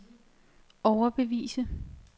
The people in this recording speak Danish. overbevise